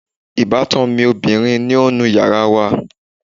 Ìbátan mi ọbìrin ń nu yàrá wa